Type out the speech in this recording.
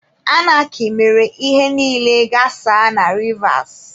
Anarkị mere ihe niile ghasaa na Rivas.